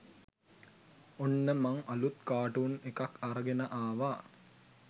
ඔන්න මං අලුත් කා‍ටුන් එකක් අරගෙන ආවා